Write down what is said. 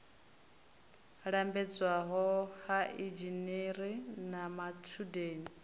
lambedzwa ha inzhinere na matshudeni